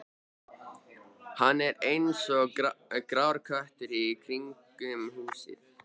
Hann er eins og grár köttur í kringum húsið.